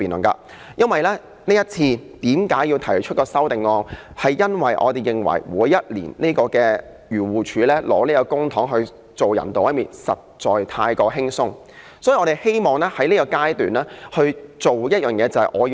我要提出這項修正案，因為每年漁農自然護理署用公帑來進行動物人道毀滅，工作實在太過輕鬆，所以我希望削減它的撥款，使它不用這樣做。